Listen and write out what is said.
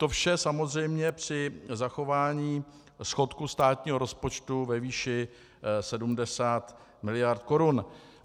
To vše samozřejmě při zachování schodku státního rozpočtu ve výši 70 miliard korun.